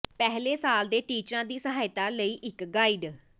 ਪਹਿਲੇ ਸਾਲ ਦੇ ਟੀਚਰਾਂ ਦੀ ਸਹਾਇਤਾ ਲਈ ਇਕ ਗਾਈਡ